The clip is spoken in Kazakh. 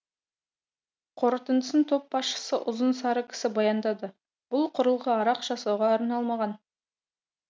қорытындысын топ басшысы ұзын сары кісі баяндады бұл құрылғы арақ жасауға арналмаған